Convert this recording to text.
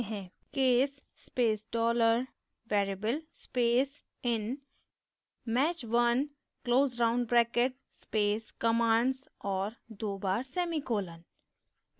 case space $dollarvariable space in match_1 close round bracket space commands और दो बार semicolon